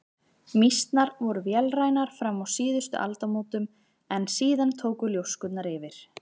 Mýsnar voru vélrænar fram að síðustu aldamótum en síðan tóku ljóskurnar yfir.